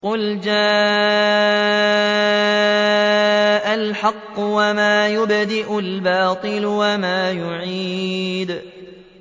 قُلْ جَاءَ الْحَقُّ وَمَا يُبْدِئُ الْبَاطِلُ وَمَا يُعِيدُ